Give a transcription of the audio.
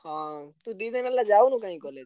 ହଁ ତୁ ଦି ଦିନି ହେଲା ଯାଉନୁ କାଇଁ college ।